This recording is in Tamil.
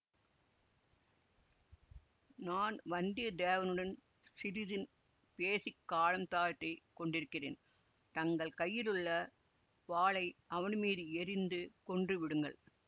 நான் வந்தியத்தேவனுடன் சிறிது பேசி காலம் தாழ்திக் கொண்டிருக்கிறேன் தங்கள் கையிலுள்ள வாளை அவன் மீது எறிந்து கொன்றுவிடுங்கள்